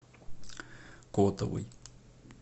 котовой